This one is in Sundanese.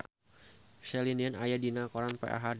Celine Dion aya dina koran poe Ahad